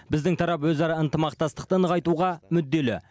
біздің тарап өзара ынтымақтастықты нығайтуға мүдделі